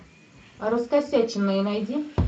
раскосяченные найди